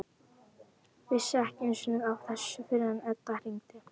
Vissi ekki einu sinni af þessu fyrr en Edda hringdi.